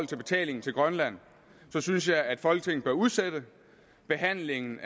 betalingen til grønland synes jeg at folketinget bør udsætte behandlingen